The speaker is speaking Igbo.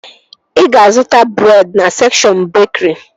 Ị ga-zụta breed na sekshọn bekri